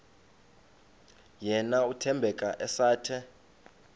yena uthembeka esathe